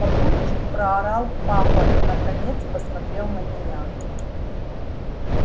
папульчик проорал папа и наконец посмотрел на меня